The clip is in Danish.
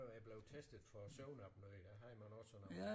Jeg blev testet for søvnapnø der havde man også sådan nogle